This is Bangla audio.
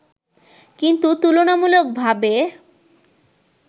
কিন্তু তুলনামূলকভাবে